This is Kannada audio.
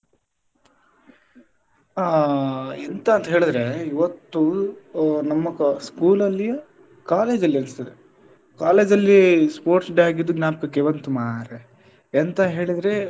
ಆ ಎಂತ ಅಂತ ಹೇಳಿದ್ರೆ ಇವತ್ತು ಆ ನಮ್ಮ ಕ~ school ಅಲ್ಲಿ college ಅಲ್ಲಿ ಅನಿಸ್ತದೆ college ಅಲ್ಲಿ sports day ಆಗಿದ್ದು ಜ್ಞಾಪಕಕ್ಕೆ ಬಂತು ಮಾರ್ರೆ ಎಂತ ಹೇಳಿದ್ರೆ.